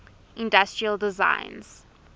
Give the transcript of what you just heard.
industrial designs